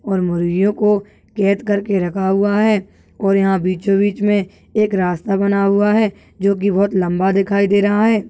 और मुर्गे कों कैद करके रखा हुआ है और यहा बिचो बीच मे एक रास्ता बना हुआ है जो की बहुत लंबा दिखाई दे रहा है।